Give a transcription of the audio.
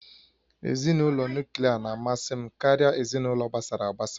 Ezinụlọ Nuklià na-amasị m karịa ezinụlọ gbasara agbasa